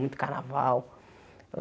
Muito carnaval.